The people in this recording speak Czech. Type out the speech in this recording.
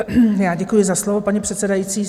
Já děkuji za slovo, paní předsedající.